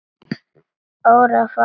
Örfáa daga.